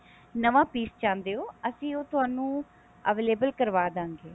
ਨਵਾਂ piece ਚਾਹੁੰਦੇ ਹੋ ਅਸੀਂ ਉਹ ਤੁਹਾਨੂੰ available ਕਰਵਾ ਦਵਾਂਗੇ